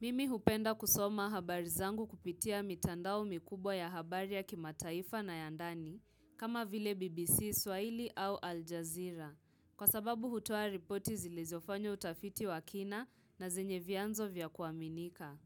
Mimi hupenda kusoma habari zangu kupitia mitandao mikubwa ya habari ya kimataifa na ya ndani kama vile BBC Swahili au Al Jazeera kwa sababu hutua ripoti zilezofanyo utafiti wa kina na zenye vianzo vya kuaminika